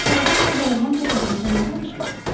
Morison qardaşla dəyirman təpəsində nə danışırdız?